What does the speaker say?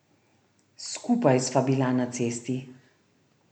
Skupaj sva bila na cesti.